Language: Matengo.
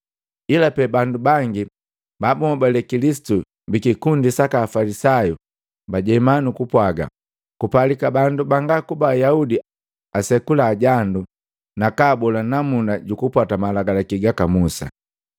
Ila pe bandu bangi ba bunhobale Kilisitu bikikundi saka Afalisayu bajema nukupwaga, “Kupalika bandu banga kuba Ayaudi asekula jandu nakaabola namuna jukupwata Malagalaki gaka Musa.”